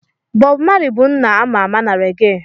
Bobu Mali bụ nna a ma ama na rege.